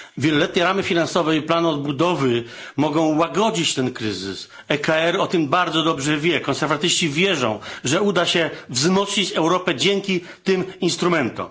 Wieloletnie ramy finansowe i plany odbudowy mogą łagodzić ten kryzys EKR o tym bardzo dobrze wie. Konserwatyści wierzą, że uda się wzmocnić Europę dzięki tym instrumentom.